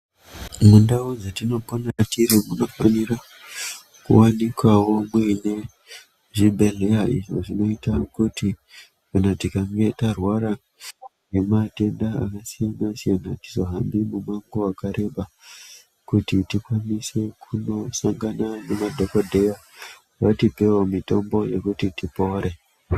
Mundau dzetinopona tiri munofanira kuvanikavo muine zvibhedhleya izvo zvinoita kuti kana tikange tarwara ngematenda akasiyana-siyana, hatizohambi mumango vakareba. Kuti tikwanise kunosangana nemadhogodheya vatipevo mitombo yekuti tipore.